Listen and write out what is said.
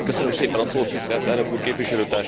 Tisztelt Elnök Úr, Képviselőtársaim!